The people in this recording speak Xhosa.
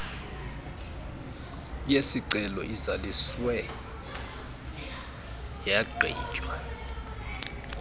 yesicelo izaliswe yagqitywa